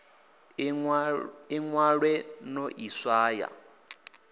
ḽi ṅwale no ḽi swaya